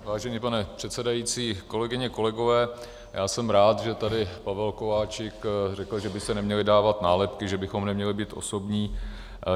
Vážený pane předsedající, kolegyně, kolegové, já jsem rád, že tady Pavel Kováčik řekl, že by se neměly dávat nálepky, že bychom neměli být osobní.